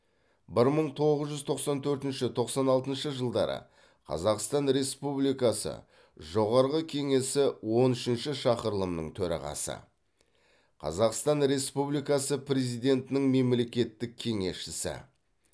бір мың тоғыз жүз тоқсан төртінші тоқсан алтыншы жылдары қазақстан республикасы жоғарғы кеңесі он үшінші шақырылымының төрағасы қазақстан республикасы президентінің мемлекеттік кеңесшісі